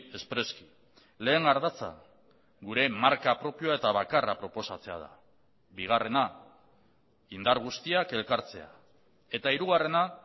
espreski lehen ardatza gure marka propioa eta bakarra proposatzea da bigarrena indar guztiak elkartzea eta hirugarrena